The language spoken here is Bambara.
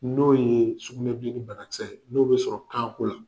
N'o ye sugunɛ bilennin banakisɛ ye, n'o bɛ sɔrɔ kaako la.